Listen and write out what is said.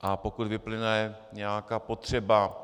A pokud vyplyne nějaká potřeba